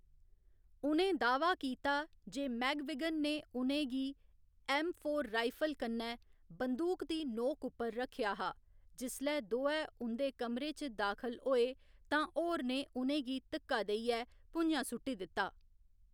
उ'नें दाह्‌वा कीता जे मैग्विगन ने उ'नें गी ऐम्म फोर राइफल कन्नै बंदूक दी नोक उप्पर रक्खेआ हा, जिसलै दोऐ उं'दे कमरे च दाखल होए तां होर ने उ'नें गी धिक्का देइयै भुञां सु'ट्टी दित्ता।